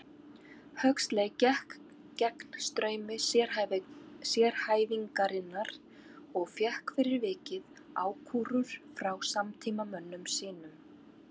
Huxley gekk gegn straumi sérhæfingarinnar og fékk fyrir vikið ákúrur frá samtímamönnum sínum.